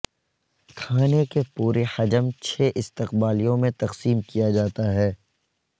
کھانے کے پورے حجم چھ استقبالیوں میں تقسیم کیا جاتا ہے